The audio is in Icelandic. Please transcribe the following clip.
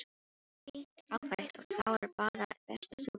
Fínt, ágætt og þá er bara best að þú byrjir.